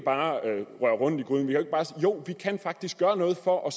bare kan røre rundt i gryden jo vi kan faktisk gøre noget for at